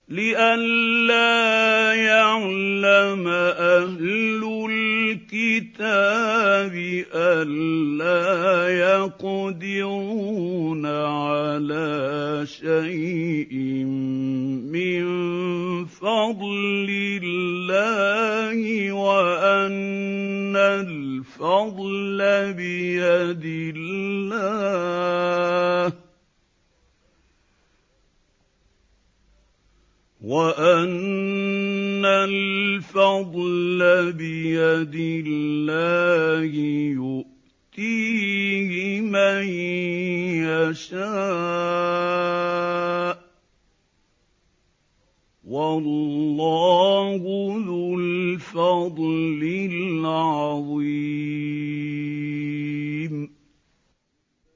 لِّئَلَّا يَعْلَمَ أَهْلُ الْكِتَابِ أَلَّا يَقْدِرُونَ عَلَىٰ شَيْءٍ مِّن فَضْلِ اللَّهِ ۙ وَأَنَّ الْفَضْلَ بِيَدِ اللَّهِ يُؤْتِيهِ مَن يَشَاءُ ۚ وَاللَّهُ ذُو الْفَضْلِ الْعَظِيمِ